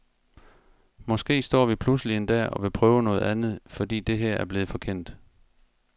Måske står vi pludselig en dag og vil prøve noget andet, fordi det her er blevet for kendt.